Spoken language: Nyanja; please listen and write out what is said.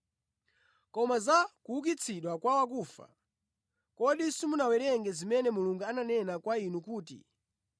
Koma za kuukitsidwa kwa akufa, kodi simunawerenge zimene Mulungu ananena kwa inu kuti,